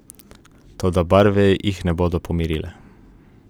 Toda barve jih ne bodo pomirile.